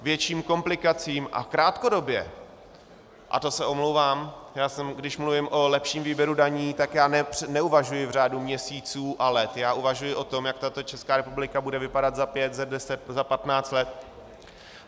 A krátkodobě, a to se omlouvám, když mluvím o lepším výběru daní, tak já neuvažuji v řádu měsíců a let, já uvažuji o tom, jak tato Česká republika bude vypadat za pět, za deset, za patnáct let.